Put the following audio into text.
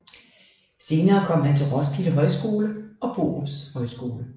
Senere kom han til Roskilde Højskole og Borups Højskole